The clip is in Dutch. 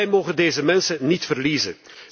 Wij mogen deze mensen niet verliezen.